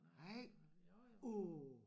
Nej uh